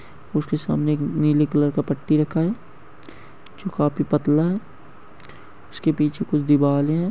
उसके सामने एक नीले कलर का एक पट्टी रखा है जो काफी पतला है उसके पीछे कुछ दिवाल हैं।